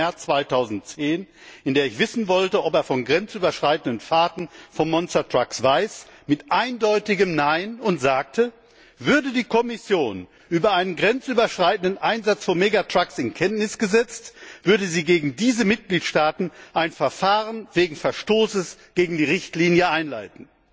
16. März 2010, in der ich wissen wollte, ob er von grenzüberschreitenden Fahrten von Monstertrucks weiß, mit eindeutigem Nein und sagte, würde die Kommission über einen grenzüberschreitenden Einsatz von Mega Trucks in Kenntnis gesetzt, würde sie gegen diese Mitgliedstaaten ein Verfahren wegen Verstoßes gegen die Richtlinie einleiten.